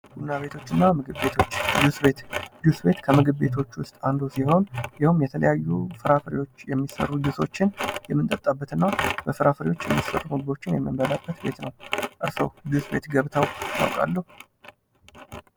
ቡና ቤቶችና ምግብ ቤቶች ጁስ ቤት፡-ጁስ ቤት ከምግብ ቤቶች ውስጥ አንዱ ሲሆን የተለያዩ ፍሬፍሬዎች የሚሠሩ ጁሶችን የምንጠጣበት እና በፍራፍሬዎች የሚሰሩ ምግቦችን የምንበላበት ቤት ነው ።እርሶ ጁስ ቤት ገብተው ያውቃሉ።